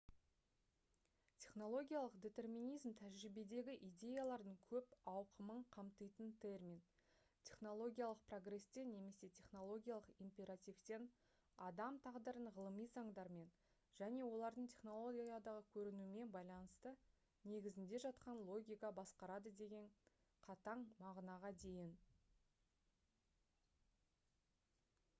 технологиялық детерминизм тәжірибедегі идеялардың көп ауқымын қамтитын термин технологиялық прогрестен немесе технологиялық императивтен адам тағдырын ғылыми заңдармен және олардың технологиядағы көрінуімен байланысты негізінде жатқан логика басқарады деген қатаң мағынаға дейін